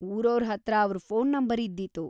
ಊರೋರ್‌ ಹತ್ರ ಅವ್ರ್‌ phone number ಇದ್ದೀತು.